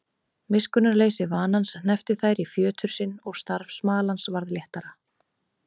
Miskunnarleysi vanans hneppti þær í fjötur sinn og starf smalans varð léttara.